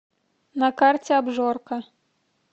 на карте обжорка